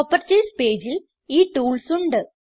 properties പേജിൽ ഈ tools ഉണ്ട്